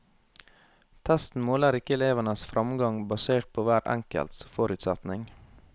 Testen måler ikke elevenes fremgang basert på hver enkelts forutsetning.